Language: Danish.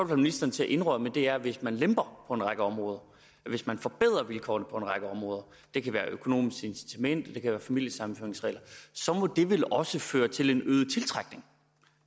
ministeren til at indrømme er at hvis man lemper på en række områder hvis man forbedrer vilkårene på en række områder det kan være det økonomiske incitament og det kan være familiesammenføringsreglerne så må det vel også føre til en øget tiltrækning